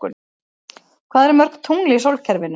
Hvað eru mörg tungl í sólkerfinu?